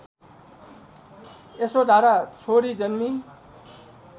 यशोधरा छोरी जन्मी